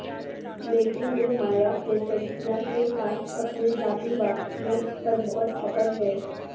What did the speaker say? لیکن وہ Maya Plisetskaya کے ساتھ اپنے ذاتی واقفیت پر بہت فخر ہے